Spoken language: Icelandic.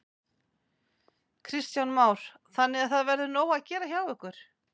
Kristján Már: Þannig að það verður nóg að gera hjá ykkur?